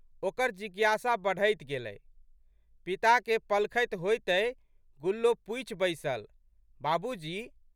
ओकर जिज्ञासा बढ़ैत गेलै। पिताके पलखति होइतहि गुल्लो पूछि बैसलि, बाबूजी!